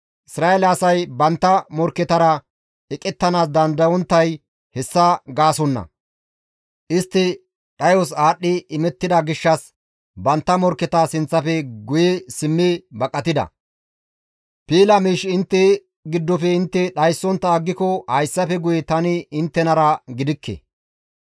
Isra7eele asay bantta morkketara eqettanaas dandayonttay hessa gaasonna; istti dhayos aadhdhi imettida gishshas bantta morkketa sinththafe guye simmi baqatida; piila miish intte giddofe intte dhayssontta aggiko hayssafe guye tani inttenara gidikke.